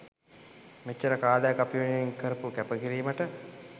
මෙච්චර කාලයක් අපි වෙනුවෙන් කරපු කැප කිරීමට